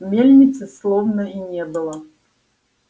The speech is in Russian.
мельницы словно и не было